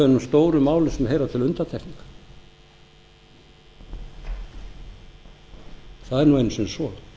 stórum málum sem heyra til undantekninga það er einu sinni svo